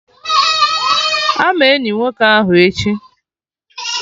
Ama eni nwoke ahụ echi!